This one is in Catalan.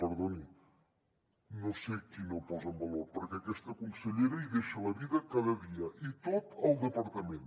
perdoni no sé qui no ho posa en valor perquè aquesta consellera hi deixa la vida cada dia i tot el departament